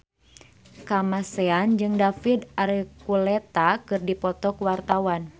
Kamasean jeung David Archuletta keur dipoto ku wartawan